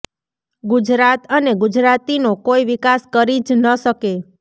ગુજરાત અને ગુજરાતીનો કોઈ વિકાસ કરી જ ન શકે